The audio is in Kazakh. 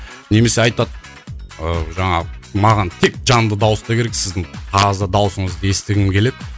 немесе айтады ыыы жаңағы маған тек жанды дауыста керек сіздің таза даусыңызды естігім келеді